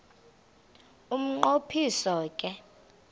umnqo phiso ke